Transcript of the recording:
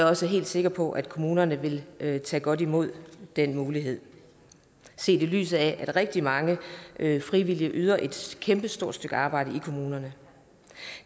også helt sikker på at kommunerne vil tage godt imod den mulighed set i lyset af at rigtig mange frivillige yder et kæmpestort stykke arbejde i kommunerne